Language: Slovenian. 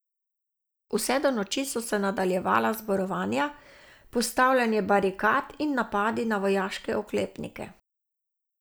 Vse do noči so se nadaljevala zborovanja, postavljanje barikad in napadi na vojaške oklepnike.